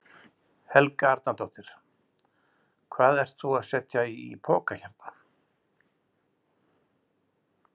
Helga Arnardóttir: Hvað ert þú að setja í poka hérna?